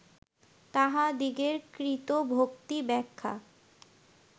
তাঁহাদিগের কৃত ভক্তিব্যাখ্যা